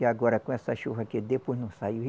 E agora, com essa chuva aqui, depois não saiu.